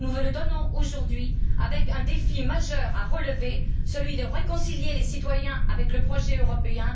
Nous vous le donnons aujourd'hui, avec un défi majeur à relever celui de réconcilier les citoyens avec le projet européen.